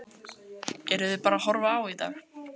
Heimir: Eruð þið bara að horfa á í dag?